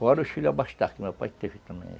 Fora os filhos abastados, que meu pai teve também.